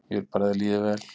Ég vil bara að þér líði vel.